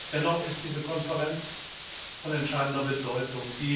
Dennoch ist diese Konferenz von entscheidender Bedeutung.